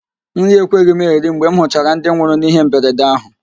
Nri ekweghị m eri mgbe m hụchara ndị nwụrụ n'ihe mberede ahụ